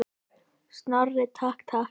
Snorri, takk, takk.